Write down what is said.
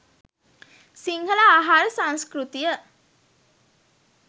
සිංහල ආහාර සංස්කෘතිය